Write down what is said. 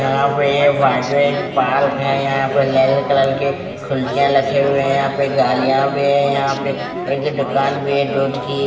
यहाँ पे बाजू एक पालक है यहाँ पे लेल कलर के कुर्सियाँ रखे हुए है गाडियाँ भी है यहाँ पे एक दुकान भी है दूध की --